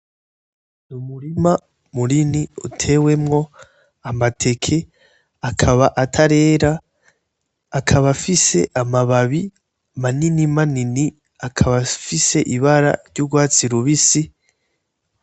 Umurima munini utewemo amateke akaba atarera, akaba afise amababi manini manini akaba afise ibara ry'ugwatsi rubisi